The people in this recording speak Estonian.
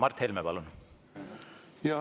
Mart Helme, palun!